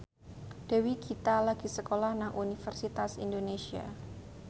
Dewi Gita lagi sekolah nang Universitas Indonesia